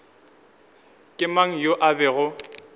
ke mang yoo a bego